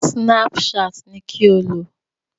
Snapchat ni kí o lò!